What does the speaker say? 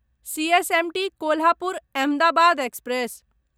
CSMT Kolhapur Ahmedabad express